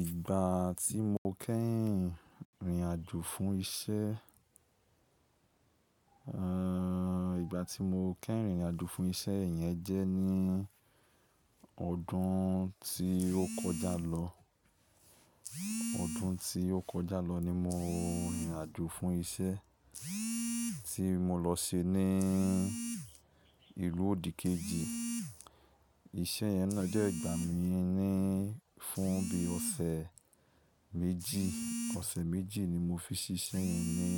Ìgbà tí mo kẹ́hìn rìnrìn àjò fún isẹ́, ẹ́ẹ̀, ìgbà tí mo kẹ́hìn rìnrìn àjò fún isẹ́ yẹn jẹ́ ní ọdún tí ó kọjá lọ. Ọdún tí ó kọjá lọ ni mo rìnrìn àjò fún isẹ́ tí mo lọ se ní ìlú òdìkejì. Iṣẹ́ yẹn náà jẹ́ ìgbà mi ní fún bí ọ̀sẹ̀ méjì. Ọ̀sẹ̀ méjì ni mo fi ṣíṣẹ́ yẹn ní